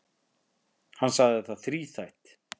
Hann sagði það þríþætt.